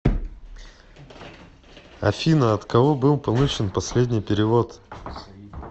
афина от кого был получен последний перевод